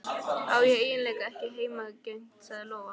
Ég á eiginlega ekki heimangengt, sagði Lóa.